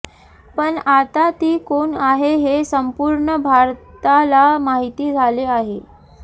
पण आता ती कोण आहे हे संपूर्ण भारताला माहिती झाले आहे